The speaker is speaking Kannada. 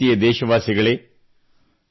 ನನ್ನ ಪ್ರೀತಿಯ ದೇಶವಾಸಿಗಳೇ